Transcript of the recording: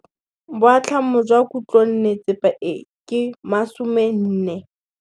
Boatlhamô jwa khutlonnetsepa e, ke 400.